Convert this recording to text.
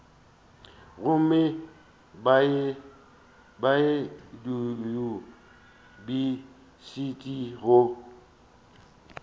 gomme ba ye diyunibesithi go